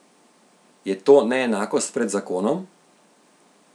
Je to neenakost pred zakonom?